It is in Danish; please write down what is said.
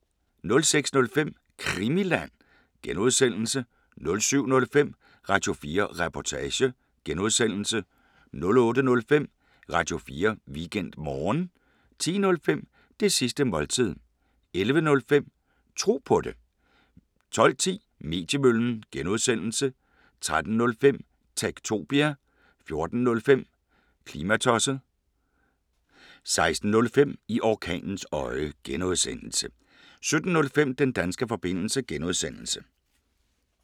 06:05: Krimiland (G) 07:05: Radio4 Reportage (G) 08:05: Radio4 Weekendmorgen 10:05: Det sidste måltid 11:05: Tro på det 12:10: Mediemøllen (G) 13:05: Techtopia 14:05: Klimatosset 16:05: I orkanens øje (G) 17:05: Den danske forbindelse (G)